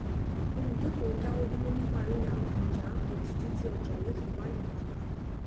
oluùdókòwò dáwọdúró nípa ríra àwọn ọjà apple títí tí ọjà yoo fi wálẹ pàtá